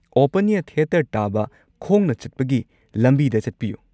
Open air theatre ꯇꯥꯕ ꯈꯣꯡꯅ ꯆꯠꯄꯒꯤ ꯂꯝꯕꯤꯗ ꯆꯠꯄꯤꯌꯨ꯫